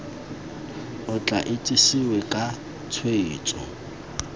o tla itsesewe ka tshwetso